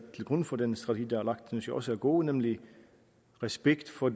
til grund for den strategi der er lagt synes jeg også er gode nemlig respekt for